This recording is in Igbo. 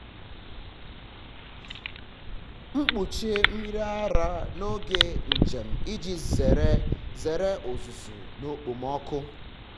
m kpuchie mmiri ara n’oge njem iji zere zere uzuzu na okpomọkụ.